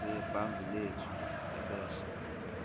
sebhangi lethu ebese